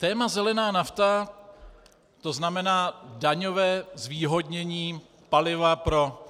Téma zelená nafta, to znamená daňové zvýhodnění paliva pro